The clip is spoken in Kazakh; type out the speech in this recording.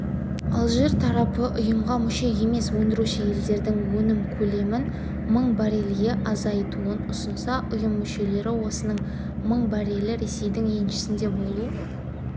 алжир тарапы ұйымға мүше емес өндіруші елдердің өнім көлемін мың баррельге азайтуын ұсынса ұйым мүшелері осының мың баррелі ресейдің еншісінде болу